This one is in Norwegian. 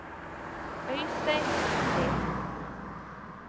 Øystein Sollie